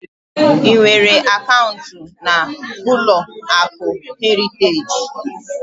Ị nwere akaụnt na ụlọakụ Heriteji?